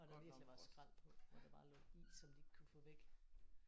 Og der virkelig var skræl på hvor der bare lå is som de ikke kunne få væk